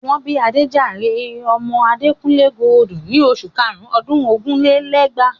Wọ́n bí Adéjàre ọmọ Adekunle Gold in oṣù karùn-ún ọdún ogún lé lẹ́gbàá.